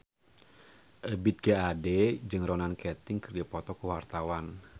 Ebith G. Ade jeung Ronan Keating keur dipoto ku wartawan